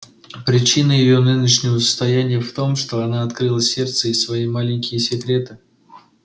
причина её нынешнего состояния в том что она открыла сердце и свои маленькие секреты